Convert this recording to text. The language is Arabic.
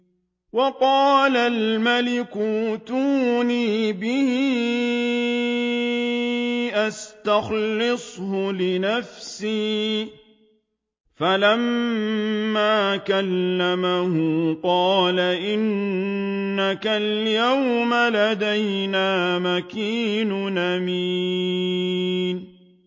وَقَالَ الْمَلِكُ ائْتُونِي بِهِ أَسْتَخْلِصْهُ لِنَفْسِي ۖ فَلَمَّا كَلَّمَهُ قَالَ إِنَّكَ الْيَوْمَ لَدَيْنَا مَكِينٌ أَمِينٌ